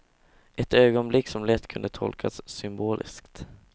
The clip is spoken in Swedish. Ett ögonblick som lätt kunde tolkas symboliskt.